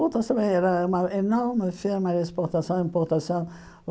Outras também era uma enorme firma de exportação e importação.